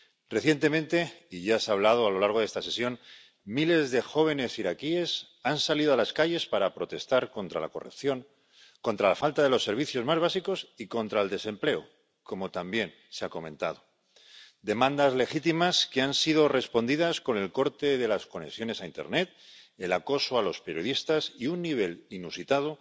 Recientemente —y ya se ha hablado a lo largo de esta sesión— miles de jóvenes iraquíes han salido a las calles para protestar contra la corrupción, contra la falta de los servicios más básicos y contra el desempleo —como también se ha comentado—. Demandas legítimas que han sido respondidas con el corte de las conexiones a internet, el acoso a los periodistas y un nivel inusitado